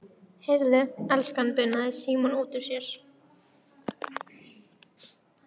Heyrðu, elskan bunaði Símon út úr sér.